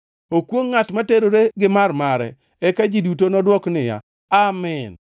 “Okwongʼ ngʼat ma oterore gi mar-mare.” Eka ji duto nodwok niya, “Amin!”